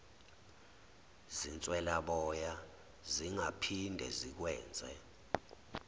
zinswelaboya zingaphinde zikwenze